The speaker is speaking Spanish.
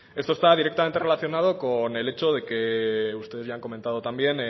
esto está directamente relacionado con el hecho de que ustedes ya han comentado también